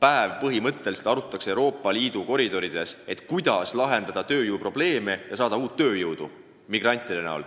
päev arutatakse Euroopa Liidu koridorides, kuidas lahendada tööjõuprobleeme ja saada uut tööjõudu migrantide näol?